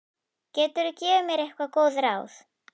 Geturðu gefið mér einhver góð ráð?